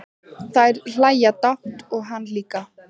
Þær hlæja dátt og hann líka.